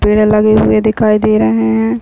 पेड़ लगे हुए दिखाई दे रहे है।